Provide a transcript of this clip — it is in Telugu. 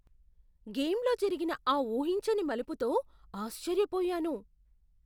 గేమ్లో జరిగిన ఆ ఊహించని మలుపుతో ఆశ్చర్యపోయాను.